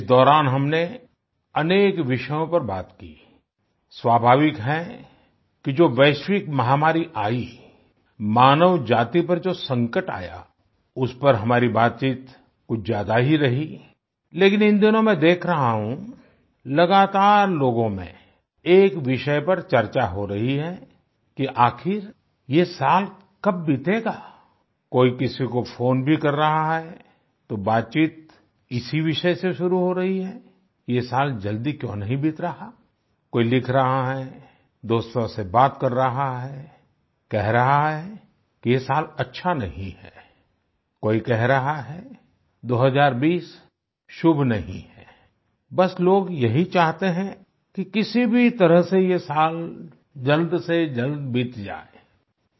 इस दौरान हमने अनेक विषयों पर बात की आई स्वाभाविक है कि जो वैश्विक महामारी आयी मानव जाति पर जो संकट आया उस पर हमारी बातचीत कुछ ज्यादा ही रही लेकिन इन दिनों मैं देख रहा हूं लगातार लोगों में एक विषय पर चर्चा हो रही है कि आखिर ये साल कब बीतेगा आई कोई किसी को फोन भी कर रहा है तो बातचीत इसी विषय से शुरू हो रही है कि ये साल जल्दी क्यों नहीं बीत रहा है आई कोई लिख रहा है दोस्तों से बात कर रहा है कह रहा है कि ये साल अच्छा नहीं है कोई कह रहा है 2020 शुभ नहीं है आई बस लोग यही चाहते हैं कि किसी भी तरह से ये साल जल्दसेजल्द बीत जाए आई